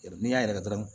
N'i y'a yɛrɛkɛ dɔrɔn